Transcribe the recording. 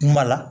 Kuma la